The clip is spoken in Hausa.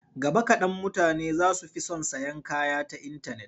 Gaba kaɗan mutane za su fi son sayan kaya ta intanet.